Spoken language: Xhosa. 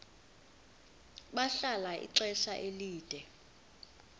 bahlala ixesha elide